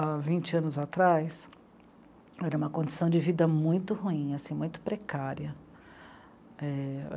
Há vinte anos, era uma condição de vida muito ruim assim, muito precária. É